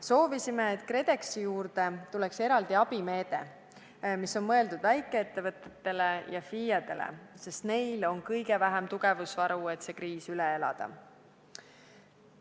Soovisime, et KredExis oleks eraldi abimeede, mis on mõeldud väikeettevõtetele ja FIE-dele, sest neil on kõige vähem tugevusvaru, et see kriis üle elada.